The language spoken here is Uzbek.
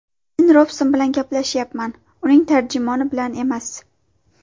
Men Robson bilan gaplashyapman, uning tarjimoni bilan emas!”.